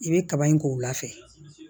I bɛ kaba in k'o wula fɛ